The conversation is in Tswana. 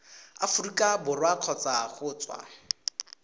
aforika borwa kgotsa go tswa